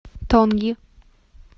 тонги